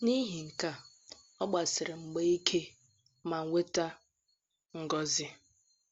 N’ihi nke a, ọ gbasiri mgba ike ma nweta ngọzi.